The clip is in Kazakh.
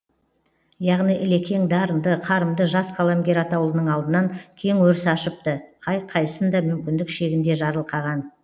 яғни ілекең дарынды қарымды жас қаламгер атаулының алдынан кең өріс ашыпты қай қайсын да мүмкіндік шегінде жарылқаған